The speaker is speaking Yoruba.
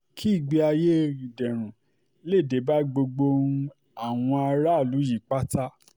kí ìgbé ayé um ìdẹ̀rùn lè dé bá gbogbo um àwọn aráàlú yìí pátá